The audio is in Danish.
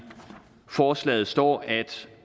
forslaget står at